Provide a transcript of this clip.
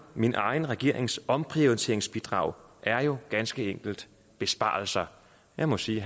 min egen regerings omprioriteringsbidrag er jo ganske enkelt besparelser jeg må sige